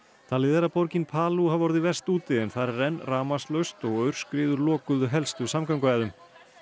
talið er að borgin hafi orðið verst úti þar er enn rafmagnslaust og aurskriður lokuðu helstu samgönguæðum